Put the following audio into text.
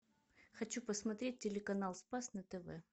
хочу посмотреть телеканал спас на тв